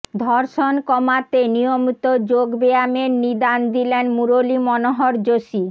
ধর্ষণ কমাতে নিয়মিত যোগ ব্যায়ামের নিদান দিলেন মুরলী মনোহর যোশী